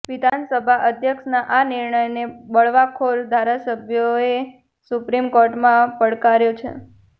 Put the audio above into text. વિધાનસભા અધ્યક્ષના આ નિર્ણયને આ બળવાખોર ધારાસભ્યોએ સુપ્રીમ કોર્ટમાં પડકાર્યો છે